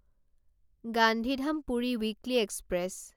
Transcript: Gandhidham Puri weekly express